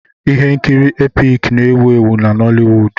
Ihe nkiri Epic na-ewu ewu na Noliwud.